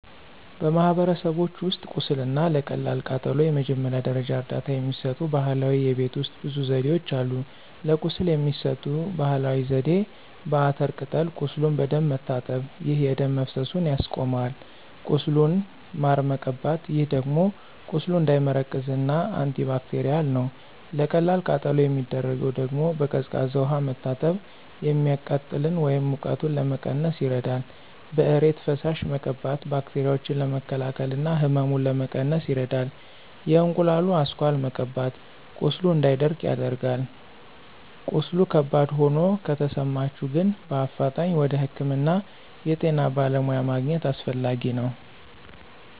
በማህበረሰቦች ውስጥ ቁስል እና ለቀላል ቃጠሎ የመጀመሪያ ደረጃ እርዳታ የሚሰጡ ባህላዊ የቤት ውሰጥ ብዙ ዘዴዎች አሉ። ለቁስል የሚሰጠው ባህላዊ ዜዴ፦ በአተር ቅጠል ቁሱሉን በደንብ መታጠብ፣ ይህ የደም መፈሰሱን ያስቆማል። ቁስሉን ማር መቀባት ይህ ደግሞ ቁስሉ እንዳይመረቅዝ እና አንቲባክቴርል ነው። ለቀላል ቃጠሎ የሚደረገው ደግሞ፦ በቀዝቃዛ ውሃ መታጠብ፤ የሚቃጥለን ወይም ሙቀቱን ለመቀነስ ይረዳል። በእሬት ፈሳሽ መቀባት ባክቴራዎችን ለመከላከል እና ህመሙን ለመቀነስ ይረዳል። የእንቁላሉ አስኳል መቀባት ቁስሉ እንዳይደርቅ ያደርጋል። ቀስሉ ከባድ ሆኖ ከተሰማቸሁ ግን በአፋጣኝ ወደ ህክምና የጤና በለሙያ ማግኝት አሰፈላጊ ነው።